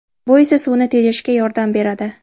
Bu esa suvni tejashga yordam beradi”.